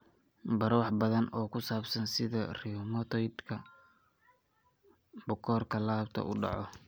Baro wax badan oo ku saabsan sida rheumatoid-ka bukoorka laabta u dhaco.